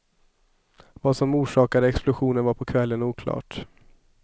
Vad som orsakade explosionen var på kvällen oklart.